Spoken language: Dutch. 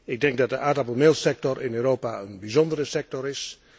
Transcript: Ik denk dat de aardappelmeelsector in Europa een bijzondere sector is.